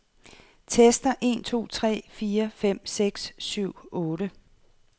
Tester en to tre fire fem seks syv otte.